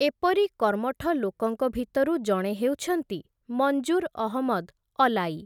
ଏପରି କର୍ମଠ ଲୋକଙ୍କ ଭିତରୁ ଜଣେ ହେଉଛନ୍ତି ମଞ୍ଜୁର୍ ଅହମଦ୍‌ ଅଲାଇ ।